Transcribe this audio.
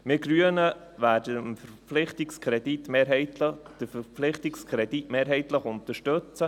Wir Grünen werden den Verpflichtungskredit mehrheitlich unterstützen.